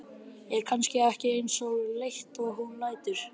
Er kannski ekki eins leitt og hún lætur.